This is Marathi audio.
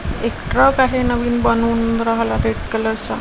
एक ट्रक आहे नवीन बनवून राहला रेड कलर चा--